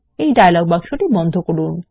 এই ডায়লগ বাক্স বন্ধ করুন